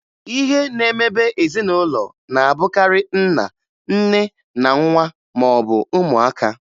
Ihe na-emebe ezinụlọ na-abụkarị nna, nne, na nwa maọbụ ụmụaka